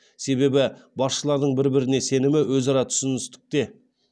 себебі басшылардың бір біріне сенімі өзара түсіністікте